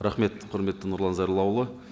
рахмет құрметті нұрлан зайроллаұлы